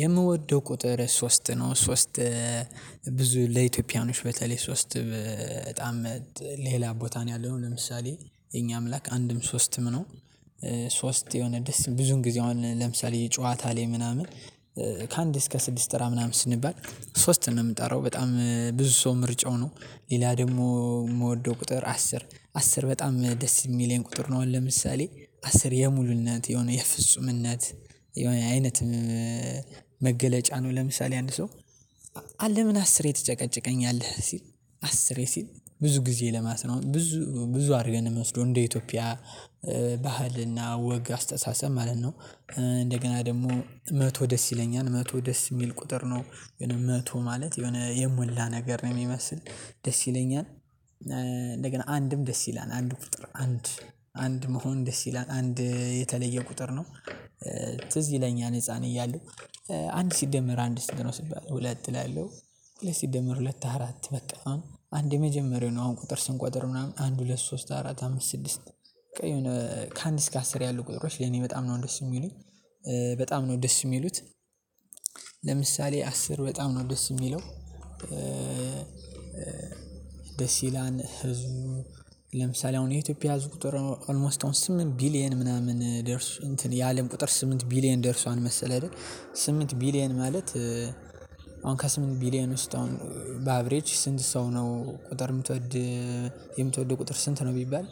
የምወደው ቁጥር ሶስት ነው ሶስት ብዙ ለኢትዮጵያኖች በተለይ ሶስት በጣም ሌላ ቦታ ነው ያለው ለምሳሌ የኛ አምላክ አንድም ሶስትም ነው። ሶስት የሆነ ደስ ብዙን ጊዜ አሁን ለምሳሌ ጨዋታ ላይ ምናምን። እስከ ስድስት ጥራ ምናምን ስንባል ሶስት ነው የምጠራው በጣም ብዙ ሰው ምርጫው ነው። ሌላ ደግሞ የምወደው ቁጥር አስር አስር በጣም ደስ የሚለኝ ቁጥር ነው። ለምሳሌ አስር የሙሉነት የሆነ የፍጹምነት የሆነ አይነት መገለጫ ነው። ለምሳሌ አንድ ሰው አለ ምን አስሬ ትጨቀጭቀኛለህ ሲል አስሬ ሲል ብዙ ጊዜ ለማለት ነው ብዙ ብዙ አድርገን ነው የምወስደው እንደ ኢትዮጵያ ባህልና ወግ አስተሳሰብ ማለት ነው። እንደገና ደግሞ መቶ ደስ ይለኛል መቶ ደስ የሚል ቁጥር ነው የሆነ መቶ ማለት የሆነ የሞላ ነገር ነው የሚመስል ደስ ይለኛል። እንደገና አንድም ደስ ይላል አንድ ቁጥር አንድ አንድ መሆን ደስ ይላል አንድ የተለየ ቁጥር ነው። ትዝ ይለኛል ህፃን እያለሁ አንድ ሲደመር አንድ ስንት? ነው ሲባል ሁለት እላለሁ። ሁለት ሲደመር ሁለት አራት በቃ አንድ የመጀመሪያው ነው አሁን ቁጥር ስንቆጥር ምናምን አንድ ሁለት ሶስት አራት አምስት ስድስት። በቃ የሆነ ከአንድ እስከ አስር ያሉ ቁጥሮች ለኔ በጣም ነው ደስ የሚሉኝ። በጣም ነው ደስ የሚሉት ለምሳሌ አስር በጣም ነው ደስ የሚለው። ደስ ይላል ህዝቡ። ለምሳሌ አሁን የኢትዮጵያ ህዝብ ቁጥር ኦልሞስት አሁን ስምንት ቢሊየን ምናምን ደርሶ እንትን የአለም ቁጥር ስምንት ቢሊየን ደርሷል። መሰለህ አይደል? ስምንት ቢሊየን ማለት። አሁን ከስምንት ቢሊየን ውስጥ አሁን በአብሬጅ ስንት ሰው ነው ቁጥር የምትወድ? የምትወደው ቁጥር ስንት ነው? ቢባል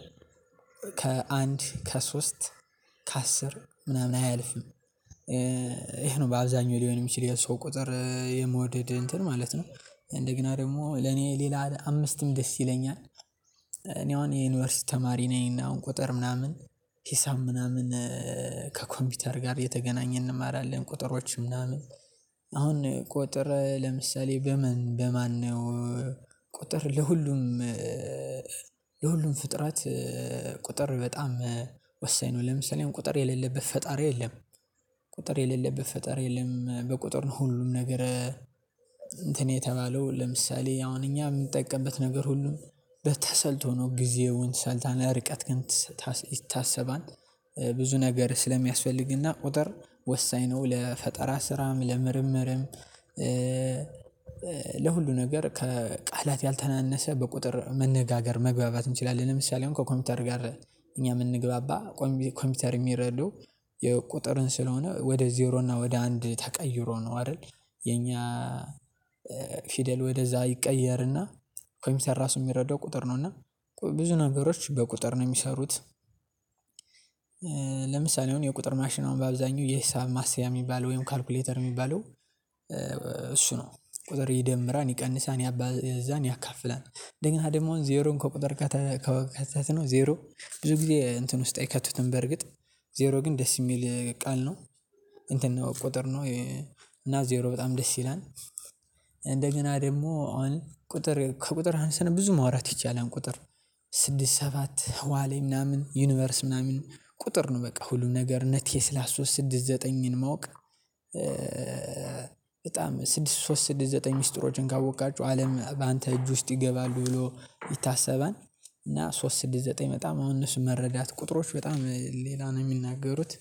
ከሶስት ከአስር ምናምን አያልፍም። ይሄ ነው በአብዛኛው ሊሆን የሚችል የሰው ቁጥር የመወደድ እንትን ማለት ነው። እንደገና ደግሞ ለኔ ሌላ አምስትም ደስ ይለኛል። እኔ አሁን የዩኒቨርሲቲ ተማሪ ነኝ እና አሁን ቁጥር ምናምን ሂሳብ ምናምን ከኮምፒውተር ጋር የተገናኘ እንማራለን ቁጥሮች ምናምን አሁን ቁጥር ለምሳሌ በምን በማነው ቁጥር ለሁሉም ለሁሉም ፍጥረት ቁጥር በጣም ወሳኝ ነው። ለምሳሌ እኔም ቁጥር የሌለብት ፈጣሪ የለም። ቁጥር የሌለብት ፈጣሪ የለም በቁጥር ሁሉም ነገር። እንትን የተባለው ለምሳሌ አሁን እኛ የምጠቀምበት ነገር ሁሉም በተሰልቶ ነው። ጊዜውን ሰልታ ርቀት ግን ይታሰባል። ብዙ ነገር ስለሚያስፈልግና ቁጥር ወሳኝ ነው። ለፈጠራ ስራም ለምርምርም ለሁሉ ነገር ከቃላት ያልተናነሰ በቁጥር መነጋገር መግባባት እንችላለን። ለምሳሌ አሁን ከኮምፒውተር ጋር እኛ የምንግባባ ኮምፒውተር የሚረዱ የቁጥርን ስለሆነ ወደ ዜሮ እና ወደ አንድ ተቀይሮ ነው አይደል? የኛ ወደዛ ይቀየርና ኮምፒወተር ራሱ የሚረዳው ቁጥር ነው። እና ብዙ ነገሮች በቁጥር ነው የሚሰሩት። ለምሳሌ የሆነ የቁጥር ማሽን አሁን በአብዛኛው የሂሳብ ማስያ የሚባል ወይም ካልኩሌተር የሚባለው። እሱ ነው ቁጥር ይደምራል ይቀንሳል ያባዛል ያካፍላል እንደገና ደግሞ ዜሮን ከቁጥር ከከተትነው ዜሮ ብዙ ጊዜ እንትን ውስጥ አይከቱትም። በርግጥ ዜሮ ግን ደስ የሚል ቃል ነው። እንትን ነው ቁጥር ነው። እና ዜሮ በጣም ደስ ይላል። እንደገና ደግሞ አሁን ከቁጥር ሀንሰን ብዙ ማውራት ይቻላል። ቁጥር ስድስት ሰባት ዋሌ ምናምን ዩኒቨርስ ምናምን ቁጥር ነው በቃ ሁሉም ነገር እነቴስላ ሶስት ስድስት ዘጠኝን ማወቅ በጣም ስድስት ሶስት ስድስት ዘጠኝ ሚስጥሮችን ካወቅካችሁ አለም በአንተ እጅ ውስጥ ይገባሉ ብሎ ይታሰባል። እና ሶስት ስድስት ዘጠኝ በጣም አሁን እነሱ መረዳት ቁጥሮች በጣም ሌላ ነው የሚናገሩት።